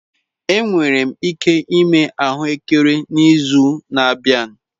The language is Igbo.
Enwere m ike ịme ahụekere n'izu na-abịa.